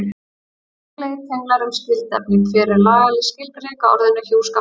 Gagnlegir tenglar um skyld efni Hver er lagaleg skilgreining á orðinu hjúskapur?